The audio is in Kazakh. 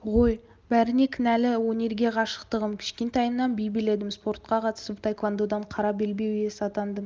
ғой бәріне кінәлі өнерге ғашықтығым кішкентайымнан би биледім спортқа қатысып таэквандодан қара белбеу иесі атандым